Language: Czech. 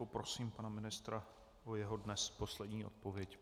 Poprosím pana ministra o jeho dnes poslední odpověď.